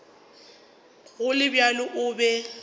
go le bjalo o be